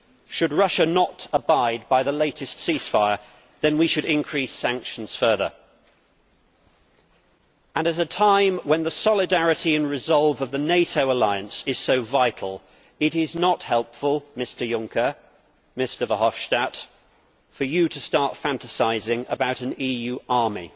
Should Russia not abide by the latest ceasefire, then we should increase sanctions further. At a time when the solidarity and resolve of the NATO alliance is so vital, it is not helpful, Mr Juncker, Mr Verhofstadt, for you to start fantasising about an EU army.